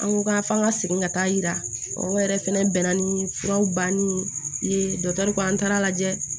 An ko ka f'an ka segin ka taa yira o yɛrɛ fɛnɛ bɛnna ni furaw banni ye dɔkitɛriw kan an taara lajɛ